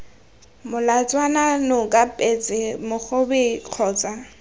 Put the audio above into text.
molatswana noka petse mogobe kgotsa